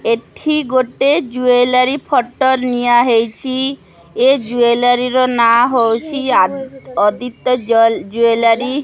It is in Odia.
ଏଠି ଗୋଟେ ଜୁଏଲାରୀ ଫଟୋ ନିଆ ହେଇଚି ଏ ଜୁଏଲାରୀ ର ନାଁ ହେଉଚି ଆ ଅଦିତ୍ୟ ଜଲ ଜୁଏଲାରୀ ।